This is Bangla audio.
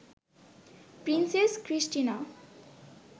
princess Christina